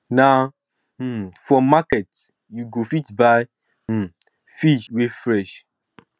na um for market you go fit buy um fish wey fresh